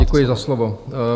Děkuji za slovo.